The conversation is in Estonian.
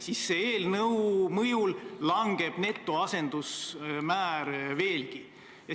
Selle eelnõu mõjul netoasendusmäär langeb.